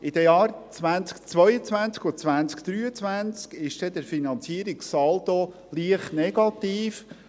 In den Jahren 2022 und 2023 ist der Finanzierungssaldo leicht negativ.